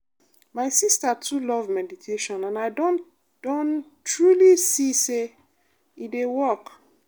my sister too love meditation and i don don truly see say e dey work.